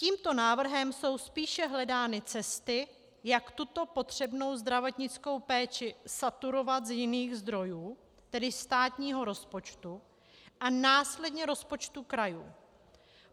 Tímto návrhem jsou spíše hledány cesty, jak tuto potřebnou zdravotnickou péči saturovat z jiných zdrojů, tedy státního rozpočtu a následně rozpočtu krajů.